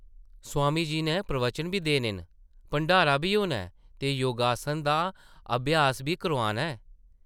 स्वामी जी नै प्रवचन बी देने न ; भंडारा बी होना ऐ ते योगासन दा अभ्यास बी करोआना ऐ ।